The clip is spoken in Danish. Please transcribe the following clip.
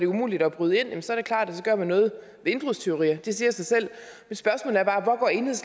umuligt at bryde ind så gør man noget ved indbrudstyverier det siger sig selv